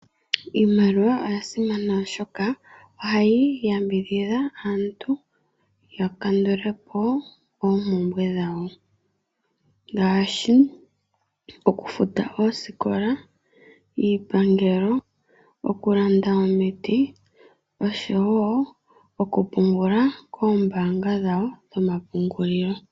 Iimaliwa oyasimana oshoka ohayi yambidhidha aantu yakandule po oompumbwe dhawo ngaashi okufuta oosikola, iipangelo, okulanda omiiti osho wo okupungula koombanga dhawo dhomapungulilo.